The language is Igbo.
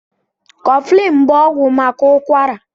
Kọflin bụ ọgwụ maka ụkwara.